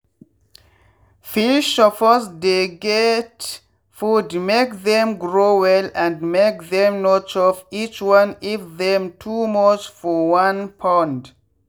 fish suppose dey get food make them grow well and make them no chop each other if them too much for one pond.